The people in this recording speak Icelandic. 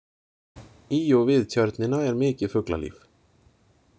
Í og við Tjörnina er mikið fuglalíf.